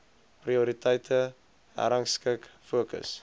prioriteite herrangskik fokus